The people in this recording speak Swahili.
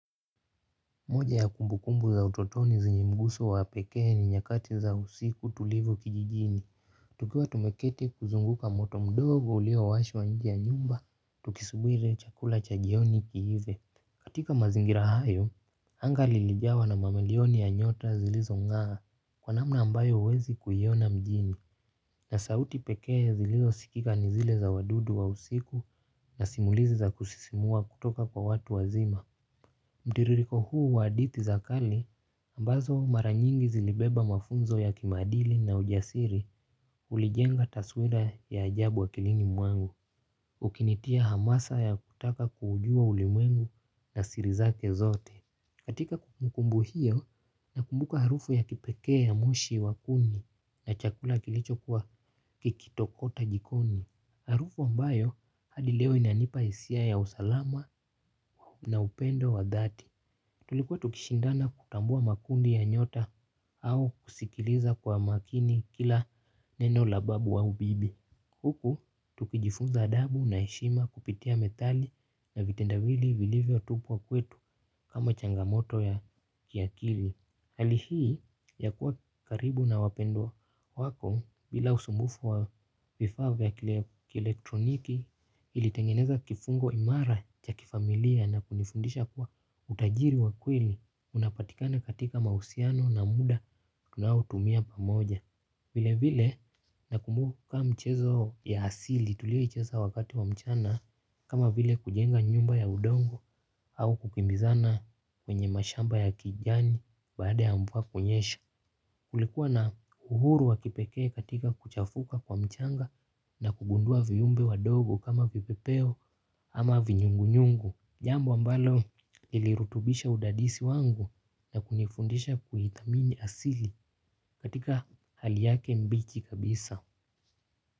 Moja ya kumbu kumbu za utotoni zenye mguso wa pekee ni nyakati za usiku tulivu kijijini. Tukiwa tumeketi kuzunguka moto mdogo ulio washwa nje ya nyumba. Tukisubiri chakula cha jioni kiive. Katika mazingira hayo, anga lilijawa na mamilioni ya nyota zilizongaa. Kwa namna ambayo huwezi kuiona mjini. Na sauti pekee ziliosikika ni zile za wadudu wa usiku na simulizi za kusisimua kutoka kwa watu wazima. Mtiririko huu wa hadithi za kale ambazo mara nyingi zilibeba mafunzo ya kimaadili na ujasiri. Kulijenga taswira ya ajabu wa akilini mwangu ukinitia hamasa ya kutaka kuujua ulimwengu na siri zake zote. Katika kumukumbu hiyo na kumbuka harufu ya kipekee ya moshi wa kuni na chakula kilicho kuwa kikitokota jikoni harufu ambayo hadi leo inanipa hisia ya usalama. Na upendo wa dhati tulikuwa tukishindana kutambua makundi ya nyota au kusikiliza kwa makini kila neno la babu aubibi. Huku tukijifunza adabu na heshima kupitia methali na vitendawili vilivyo tupwa kwetu kama changamoto ya kiakili. Hali hii ya kuwa karibu na wapendwa wako bila usumbufu wa vifaa vya kielktroniki kilitengeneza kifungo imara cha kifamilia na kunifundisha kuwa utajiri wa kweli unapatikana katika mahusiano na muda tunao tumia pamoja. Vile vile na kumbuka kama michezo ya asili tulioicheza wakati wa mchana kama vile kujenga nyumba ya udongo au kukimbizana kwenye mashamba ya kijani baada ya mvua kunyesha. Kulikuwa na uhuru wa kipekee katika kuchafuka kwa mchanga na kugundua viumbe wadogo kama vipepeo ama vinyungu nyungu. Jambo ambalo lilirutubisha udadisi wangu na kunifundisha kuithamini asili katika hali yake mbichi kabisa.